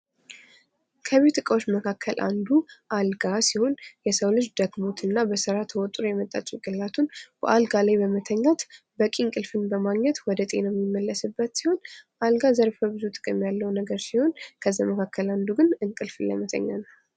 ከቤት እቃዎች መካከል አንዱ አልጋ ሲሆን የሰው ልጅ ደክሞትና በስራ ተወጥሮ የመጣ ጭንቅላቱን በአልጋ ላይ በመተኛት በቅ እንቅልፍን በማግኘት ወደ ጤናው የሚመለስበት ሲሆን አልጋ ዘርፈብዙ ጥቅም ያለሁ ነገር ሲሆን ከእነዚህን መካከል አንዱ እንቅልፍ ለመተኛት